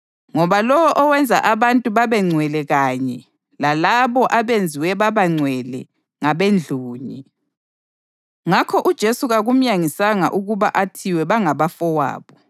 Ngoba lowo owenza abantu babengcwele kanye lalabo abenziwe baba ngcwele ngabendlunye. Ngakho uJesu kakumyangisi ukuba athi bangabafowabo.